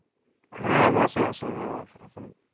হ্যাঁ মেসে আছি এখন